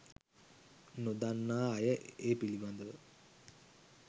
නොදන්නා අය ඒ පිළිබඳව